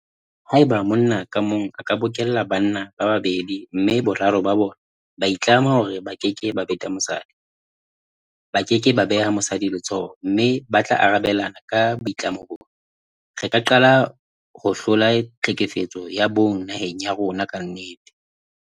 Haeba monna ka mong a ka bokella banna ba babedi mme boraro ba bona ba itlama hore ba keke ba beta mosadi, ba ke ke ba beha mosadi letsoho mme ba tla arabelana ka boitlamo bona, re ka qala ho hlola tlhekefetso ya bong naheng ya rona ka nnete.